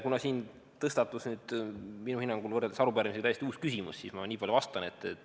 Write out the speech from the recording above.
Kuna siin tõstatus minu hinnangul võrreldes arupärimisega täiesti uus küsimus, siis ma niipalju vastan.